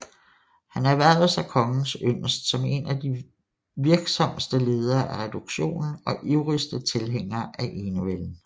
Han erhvervede sig kongens yndest som en af de virksomste ledere af reduktionen og ivrigste tilhængere af enevælden